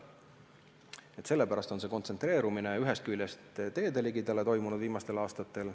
Ühest küljest sellepärast on raie viimastel aastatel teede lähedale kontsentreerunud.